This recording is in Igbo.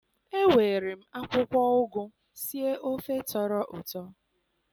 Ewere m akwụkwọ ụgụ sie ofe tọrọ ụtọ